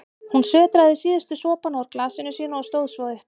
Hún sötraði síðustu sopana úr glasinu sínu og stóð svo upp.